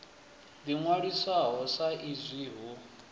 ḓi ṅwalisaho sa izwi hu